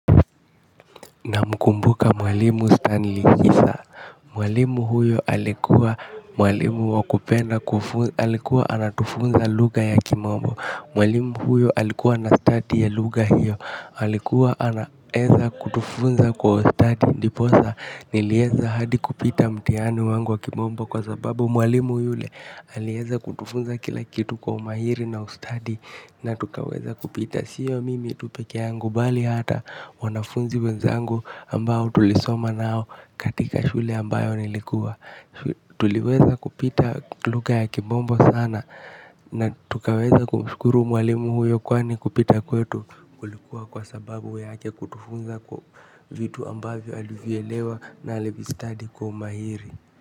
Namkumbuka mwalimu Stanley kisa, mwalimu huyo alikuwa mwalimu wa kupenda, alikuwa anatufunza lugha ya kimombo mwalimu huyo alikua na stadi ya lugha hiyo alikuwa anaweza kutufunza kwa ustadi ndiposa niliweza hadi kupita mtihani wangu wa kimombo kwa sababu mwalimu yule aliweza kutufunza kila kitu kwa umahiri na ustadi na tukaweza kupita. Na siyo mimi tu pekee yangu bali hata wanafunzi wenzangu ambao tulisoma nao katika shule ambayo nilikuwa. Tuliweza kupita lugha ya kimombo sana na tukaweza kumshukuru mwalimu huyo kwani kupita kwetu. Kulikuwa kwa sababu yake kutufunza kwa vitu ambavyo alivielewa na alivistadi kwa umahiri.